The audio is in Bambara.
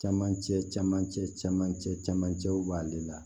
Camancɛ camancɛ camancɛ camancɛw b'ale la